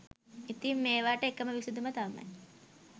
ඉතිං මේවාට එකම විසඳුම තමයි